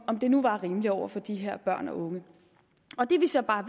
om det nu var rimeligt over for de her børn og unge og det vi så bare